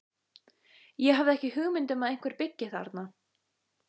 Ég hafði ekki hugmynd um að einhver byggi þarna.